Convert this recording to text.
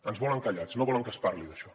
ens volen callats no volen que se’n parli d’això